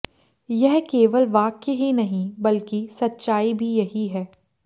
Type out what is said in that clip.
यह केवल वाक्य ही नहीं बल्कि सच्चाई भी यही है